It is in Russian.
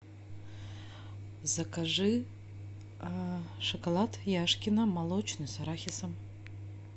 закажи шоколад яшкино молочный с арахисом